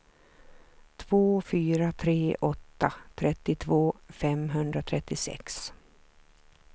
två fyra tre åtta trettiotvå femhundratrettiosex